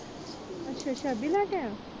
ਅੱਛਾ ਅੱਛਾ ਅਬੀ ਲੈ ਕੇ ਆਇਆ।